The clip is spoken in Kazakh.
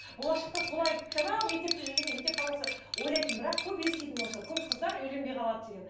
болашақта солай анау мектепте жүргенде мектеп қабырғасында ойлайтынмын бірақ көп еститінмін осы көп қыздар үйленбей қалады деген